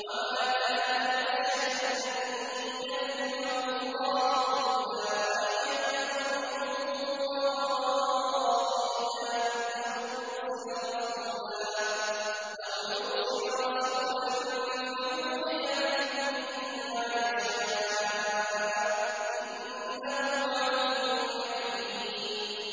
۞ وَمَا كَانَ لِبَشَرٍ أَن يُكَلِّمَهُ اللَّهُ إِلَّا وَحْيًا أَوْ مِن وَرَاءِ حِجَابٍ أَوْ يُرْسِلَ رَسُولًا فَيُوحِيَ بِإِذْنِهِ مَا يَشَاءُ ۚ إِنَّهُ عَلِيٌّ حَكِيمٌ